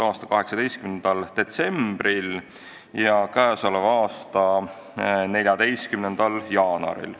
a 18. detsembril ja k.a 14. jaanuaril.